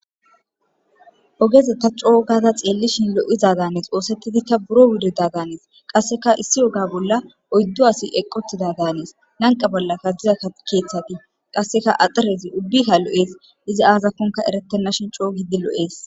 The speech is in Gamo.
Ogez ta co gada xeelishn lo'iza Danes,othetidika buro wurida Danes, qaseka issi ogeza bolaloydu assi eqi utida Danes, lanqe bollaka diza kethati axirez ubbayka lo'es, izi azakoni eretenashn Co gid lo'es.